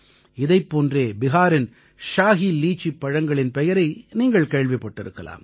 இதைப் போன்றே பிஹாரின் ஷாஹி லீச்சிப் பழங்களின் பெயரை நீங்கள் கேள்விப்பட்டிருக்கலாம்